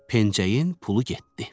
Pencəyin pulu getdi.